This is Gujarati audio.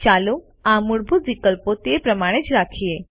ચાલો આ મૂળભૂત વિકલ્પો તે પ્રમાણે જ રાખીએ